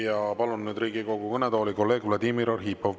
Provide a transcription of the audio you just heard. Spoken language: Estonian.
Ja palun Riigikogu kõnetooli kolleeg Vladimir Arhipovi.